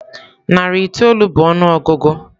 Narị itoolu bụ ọnụọgụgụ.